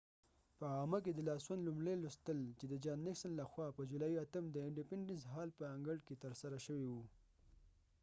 په عامه کی د لاسوند لومړی لوستل د جان نیکسن لخوا په جولای 8 د انډیپینډنس هال په انګړ کې ترسره شوی وو